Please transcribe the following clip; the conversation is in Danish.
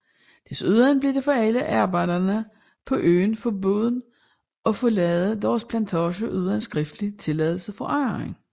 Desuden blev det for alle arbejdere på øen forbudt at forlade deres plantager uden skriftlig tilladelse fra ejeren